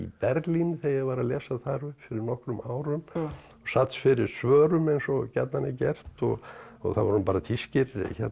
Berlín þegar ég var að lesa þar upp fyrir nokkrum árum og sat fyrir svörum eins og gjarnan er gert og það voru bara þýskir